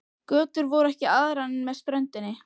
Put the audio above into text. Götur voru ekki aðrar en með ströndinni.